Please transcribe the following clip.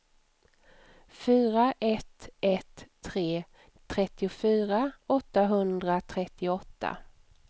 fyra ett ett tre trettiofyra åttahundratrettioåtta